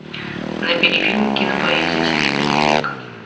набери фильм кинопоэзия серебряный век